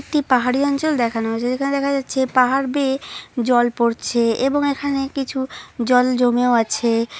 একটি পাহাড়ি অঞ্চল দেখানো হয়েছে যেখানে দেখা যাচ্ছে পাহাড় বেয়ে জল পড়ছে এবং এখানে কিছু জল জমেও আছে।